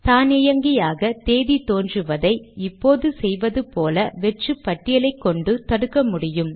தானியங்கியாக தேதி தோன்றுவதை இப்போது செய்வது போல வெற்று பட்டியலை கொண்டு தடுக்க முடியும்